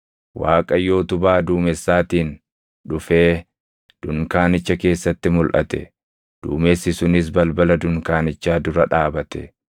Waaqayyo utubaa duumessaatiin dhufee dunkaanicha keessatti mulʼate; duumessi sunis balbala dunkaanichaa dura dhaabate.